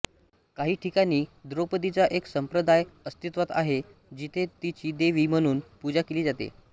काही ठिकाणी द्रौपदीचा एक संप्रदाय अस्तित्वात आहे जिथे तिची देवी म्हणून पूजा केली जाते